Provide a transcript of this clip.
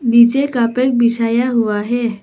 नीचे कारपेट बिछाया हुआ है।